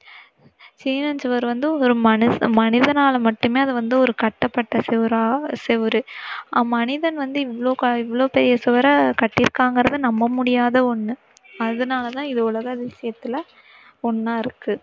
சீன சுவர் வந்து ஒரு மனுஷ~மனிதனால மட்டுமே அது வந்து ஒரு கட்டப்பட்ட சுவரா~சுவர். அவ்மனிதன் வந்து இவ்வளோ, இவ்வளோ பெரிய சுவரை கட்டிருக்காங்கிறத நம்ப முடியாத ஒண்ணு. அதனாலதான் இது உலக அதிசயத்துல ஒண்ணாயிருக்கு.